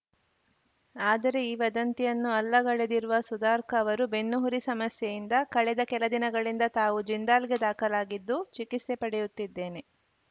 ಆದರೆ ಈ ವದಂತಿಯನ್ನು ಅಲ್ಲಗಳೆದಿರುವ ಸುಧಾರ್ಕ್ ಅವರು ಬೆನ್ನುಹುರಿ ಸಮಸ್ಯೆಯಿಂದ ಕಳೆದ ಕೆಲ ದಿನಗಳಿಂದ ತಾವು ಜಿಂದಾಲ್‌ಗೆ ದಾಖಲಾಗಿದ್ದು ಚಿಕಿತ್ಸೆ ಪಡೆಯುತ್ತಿದ್ದೇನೆ